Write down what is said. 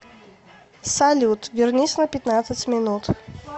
салют вернись на пятнадцать минут